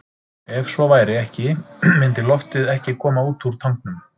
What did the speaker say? Ef svo væri ekki myndi loftið ekki koma út úr tanknum.